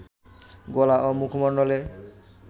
গলা ও মুখমণ্ডলে